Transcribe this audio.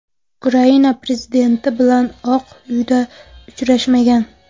Ukraina prezidenti bilan Oq Uyda uchrashmagan.